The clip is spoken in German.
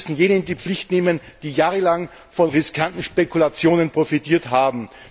Wir müssen jene in die Pflicht nehmen, die jahrelang von riskanten Spekulationen profitiert haben.